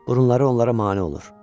Burunları onlara mane olur.